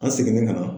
An seginnen ka na